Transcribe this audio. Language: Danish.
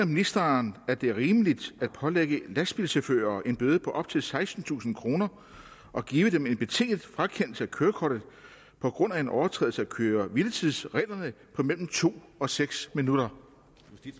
ministeren at det er rimeligt at pålægge lastbilchauffører en bøde på op til sekstentusind kroner og give dem en betinget frakendelse af kørekortet på grund af en overtrædelse af køre hvile tids reglerne på mellem to og seks minutter